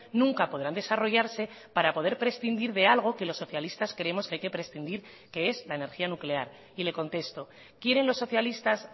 nunca podrán desarrollarse para poder prescindir de algo que los socialistas creemos que hay que prescindir que es la energía nuclear y le contesto quieren los socialistas